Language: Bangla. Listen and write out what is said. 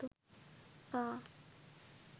পা